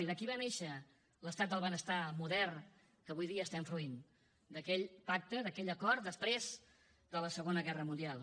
i d’aquí va néixer l’estat del benestar modern que avui dia estem fruint d’aquell pacte d’aquell acord després de la segona guerra mundial